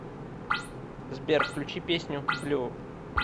сбер включи песню блю